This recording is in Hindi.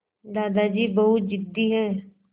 दादाजी बहुत ज़िद्दी हैं